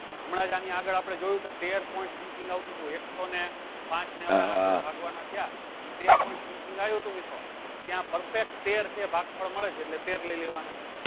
પણ હમણાજ આની આગળ આપળે જોયું કે તેર point something આવતું હતું એક સૌ ને પાંચ ને આપળે આઠ જોડે ભાગ્ય થવા તો તેર point something આયુ હતું મિત્રો તો ત્યાં perfect તેર છે ભાગ પડે છે એટલે તેર લઇ લેવાના છે